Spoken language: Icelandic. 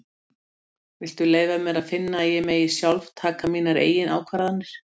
Viltu leyfa mér að finna að ég megi sjálf taka mínar eigin ákvarðanir.